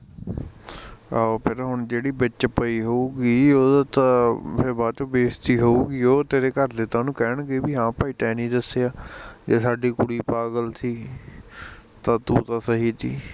ਆਹੋ ਫਿਰ ਹੁਣ ਜਿਹੜੀ ਵਿੱਚ ਪਈ ਹੋਊਗੀ, ਉਹਦਾ ਤਾਂ ਬਾਦ ਚ ਬੇਜਤੀ ਹੋਊਗੀ ਓ ਤੇਰੇ ਘਰਦੇ ਤਾਂ ਓਹਨੂੰ ਕਹਿਣਗੇ ਈ ਓ ਵੀ ਹਾਂ ਭਾਈ ਤੈ ਨੀ ਦੱਸਿਆ, ਜੇ ਸਾਡੀ ਕੁੜੀ ਪਾਗਲ ਤੀ ਤਾਂ ਤੂੰ ਤਾਂ ਸਹੀ ਤੀ